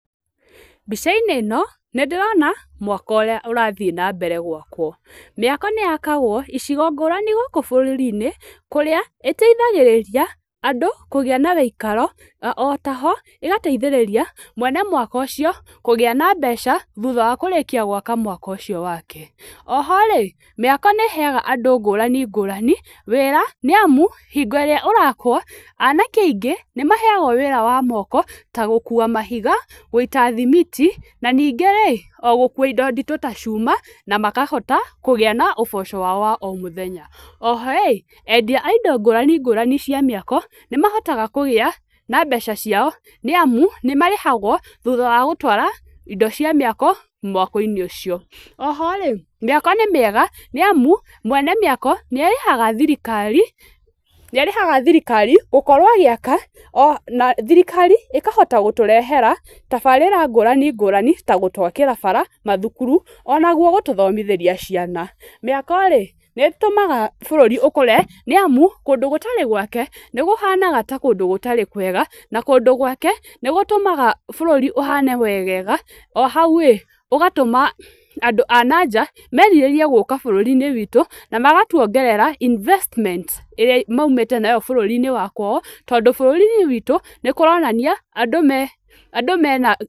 Mbica-inĩ ĩno nĩ ndĩrona mwako ũrĩa ũrathiĩ na mbere gwakwo. Mĩako nĩ yakagwo icigo ngũrani gũkũ bũrũri-inĩ kũrĩa ĩteithagĩrĩria andũ kũgĩa na gĩikaro na o ta ho ĩgateitĩrĩria mwene mwako ũcio kũgĩa na mbeca thutha wa kũrĩkia gwaka mwako ũcio wake. O o rĩ, mĩako nĩ ĩheaga andũ ngũrani ngũrani wĩra nĩ amu, hĩngo ĩrĩa ũrakwo, anake aingĩ nĩ maheagwo wĩra wa moko ta gũkua mahiga, gũita thimiti, na ningĩ rĩ, o gũkua indo nditũ ta cuma na makahota kũgĩa na ũboco wao wa o mũthenya. O ho rĩ, endia a indo ngũrani ngũrani cia mĩako, nĩ mahotaga kũgĩa na mbeca ciao nĩ amu nĩ marĩhagwo thutha wa gũtwara indo cia mĩako, mwako-inĩ ũcio, o ho rĩ, mĩako nĩ mĩega nĩ amu, mwene mĩako, nĩ arĩhaga thirikari gũkorwo agĩaka na thirikari ĩkahota gũtũrehera tabarĩra ngũrani ngũrani ta gũtwakĩra bara mathukuru, o naguo gũtũthomithĩria ciana. Mĩako-rĩ nĩ ĩtũmaga bũrũrĩ ũkũre nĩ amu, kũndũ gũtarĩ gwake nĩ kũhanaga ta kũndũ gũtarĩ kwega na kũndũ gwake nĩ gũtũmaga bũrũri ũhane wegega, o hau rĩ, ũgatũma andũ a na nja merirĩrie gũka bũrũri-inĩ witũ, na magatuongerera investment ĩrĩa maumĩte nayo bũrũri-inĩ wa kwao tondũ bũrũri-inĩ witũ nĩ kũronania andũ mena